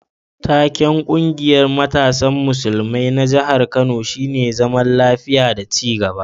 Taken ƙungiyar matasan musulmai na jihar Kano shine zaman lafiya da ci gaba.